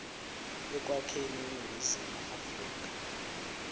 ekwakheni iningizimu afrika